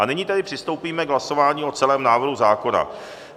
A nyní tedy přistoupíme k hlasování o celém návrhu zákona.